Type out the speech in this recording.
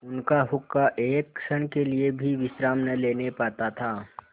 उनका हुक्का एक क्षण के लिए भी विश्राम न लेने पाता था